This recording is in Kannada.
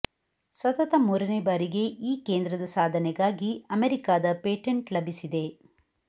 ಸತತ ಮೂರನೇ ಬಾರಿಗೆ ಈ ಕೇಂದ್ರದ ಸಾಧನೆಗಾಗಿ ಅಮೆರಿಕಾದ ಪೇಟೆಂಟ್ ಲಭಿಸಿದೆ